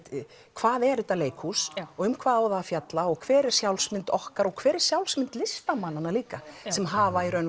hvað er þetta leikhús og um hvað á það að fjalla og hver er sjálfsmynd okkar og hver er sjálfsmynd listamannanna líka sem hafa í raun